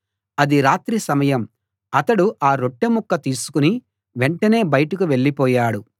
అది రాత్రి సమయం అతడు ఆ రొట్టె ముక్క తీసుకుని వెంటనే బయటకు వెళ్ళిపోయాడు